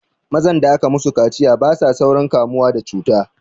Mazan da aka musu kaciya basa saurin kamuwa da cuta